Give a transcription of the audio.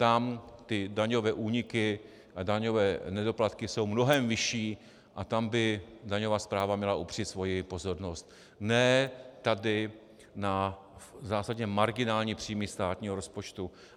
Tam ty daňové úniky a daňové nedoplatky jsou mnohem vyšší a tam by daňová správa měla upřít svoji pozornost, ne tady na zásadně marginální příjmy státního rozpočtu.